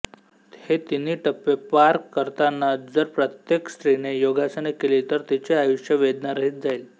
हे तिन्ही टप्पे पार करतना जर प्रत्येक स्त्रीने योगासने केली तर तिचे आयुष्य वेदनारहित जाईल